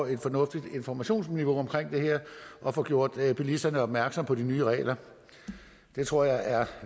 et fornuftigt informationsniveau og få gjort bilisterne opmærksom på de nye regler det tror jeg er